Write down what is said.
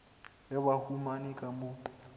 ge ba humane ka mo